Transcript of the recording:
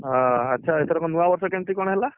ଆଚ୍ଛା ଏଥରକ ନୂଆବର୍ଷ କେମିତି କଣ ହେଲା?